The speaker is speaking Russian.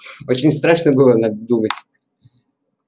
очень страшно было надо думать